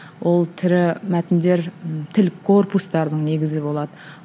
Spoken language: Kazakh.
ол тірі мәтіндер і тіл корпустардың негізі болады